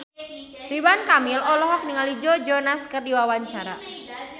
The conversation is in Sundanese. Ridwan Kamil olohok ningali Joe Jonas keur diwawancara